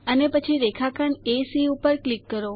અને પછી રેખાખંડ એસી ઉપર ક્લિક કરો